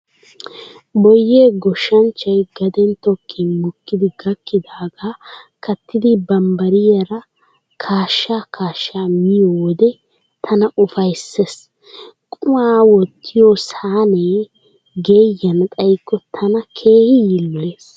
Boyyee goshshanchchay gaden tokkin mokkidi gakkidaagaa kattidi bambbariyaara kaasha kaasha miyo wode tana ufayssees. Qumaa wottiyo Sahnee geeyyana xayikko tana keehi yiiloyees.